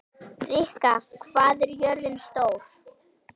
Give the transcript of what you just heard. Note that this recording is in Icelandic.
Rikka, hvað er jörðin stór?